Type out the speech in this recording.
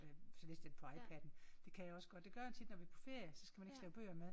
Så læste jeg den på iPaden det kan jeg også godt. Det gør jeg tit når vi er på ferie så skal man ikke slæbe bøger med